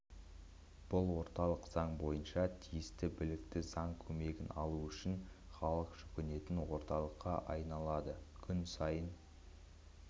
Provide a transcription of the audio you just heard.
бұл орталық заң бойынша тиісті білікті заң көмегін алу үшін халық жүгінетін орталыққа айналады күн сайын